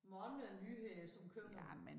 Mange nyheder som kommer